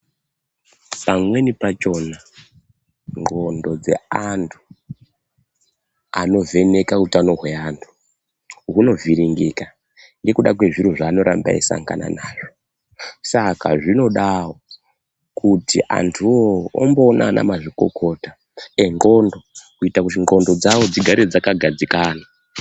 Pamweni pachona nxondo dzeantu anovheneka utano hweantu hwunovhiringika ngekuda kwezviro zvaanoramba eisangana nazvo saka zvinodawo kuti antuwo omboona anamazvikokota enxondo kuitira kuti nxondo dzavo dzigare dzakakadzikana .